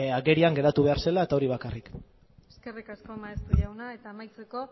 agerian geratu behar zela hori bakarrik eskerrik asko maeztu jauna amaitzeko